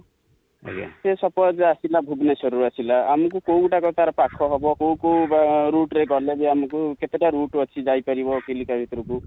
ସେ suppose ଆସିଲା ଭୁବନେଶ୍ୱର ରୁ ଆସିଲା ,ଆମକୁ କୋଉ ଗୋଟା କ ତାର ପାଖ ହେବ, କୋଉ କୋଉ ବା route ରେ ଗଲେ ବି ଆମକୁ, କେତେ ଟା route ଅଛି ଯାଇ ପାରିବ ଚିଲିକା ଭିତରକୁ?